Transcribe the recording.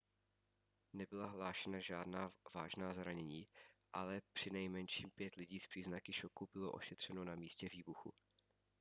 nebyla hlášena žádná vážná zranění ale přinejmenším pět lidí s příznaky šoku bylo ošetřeno na místě výbuchu